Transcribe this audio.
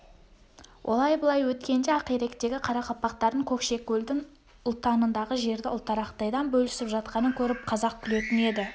олай-былай өткенде ақиректегі қарақалпақтардың көкшекөлдің ұлтанындағы жерді ұлтарақтайдан бөлісіп жатқанын көріп қазақ күлетін еді